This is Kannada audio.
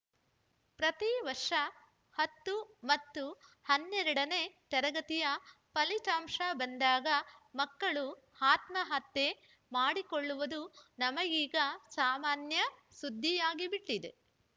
ಪ್ರತೀವರ್ಷ ಹತ್ತು ಮತ್ತು ಹನ್ನೆರಡನೇ ತರಗತಿಯ ಫಲಿತಾಂಶ ಬಂದಾಗ ಮಕ್ಕಳು ಆತ್ಮಹತ್ಯೆ ಮಾಡಿಕೊಳ್ಳುವುದು ನಮಗೀಗ ಸಾಮಾನ್ಯ ಸುದ್ದಿಯಾಗಿಬಿಟ್ಟಿದೆ